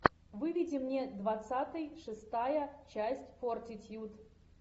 выведи мне двадцатый шестая часть фортитьюд